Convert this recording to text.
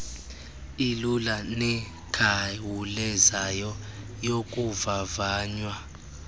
ilula nekhawulezayo yokuvavanya